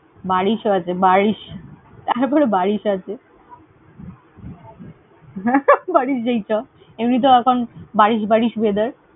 বারিশো আছে। বারিশ, তারপরে বারিশ আছে। বারিশ যাই চ। এমনি তেও এখন বারিশ বারিশ weather ।